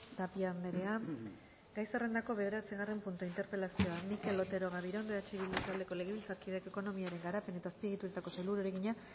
tapia anderea gai zerrendako bederatzigarren puntua interpelazioa mikel otero gabirondo eh bildu taldeko legebiltzarkideak ekonomiaren garapen eta azpiegituretako sailburuari egina